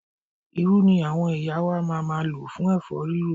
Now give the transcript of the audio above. Irú ni àwọn ìyá wa ma máa lò fún ẹ̀fọ́ rírò.